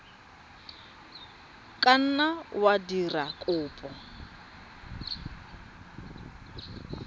ka nna wa dira kopo